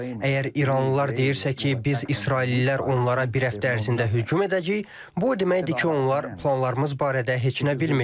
Əgər iranlılar deyirsə ki, biz israillilər onlara bir həftə ərzində hücum edəcəyik, bu o deməkdir ki, onlar planlarımız barədə heç nə bilmirlər.